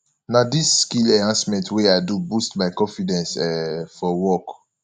na dis skill enhancement wey i do boost my confidence um for work